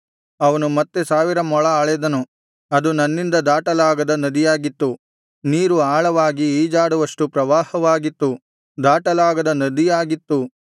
ಅವನು ಮತ್ತೆ ಸಾವಿರ ಮೊಳ ಅಳೆದನು ಅದು ನನ್ನಿಂದ ದಾಟಲಾಗದ ನದಿಯಾಗಿತ್ತು ನೀರು ಆಳವಾಗಿ ಈಜಾಡುವಷ್ಟು ಪ್ರವಾಹವಾಗಿತ್ತು ದಾಟಲಾಗದ ನದಿಯಾಗಿತ್ತು